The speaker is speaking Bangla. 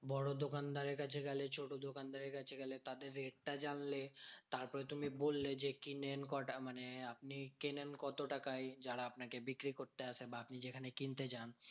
বড় দোকানদারের কাছে গেলে, ছোট দোকানদারের কাছে গেলে, তাদের rate টা জানলে। তারপরে তুমি বললে যে কিনেন কটা মানে আপনি কেনেন কত টাকায়? যারা আপনাকে বিক্রি করতে আসে বা আপনি যেখানে কিনতে যান?